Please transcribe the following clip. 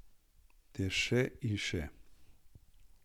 Ter še in še.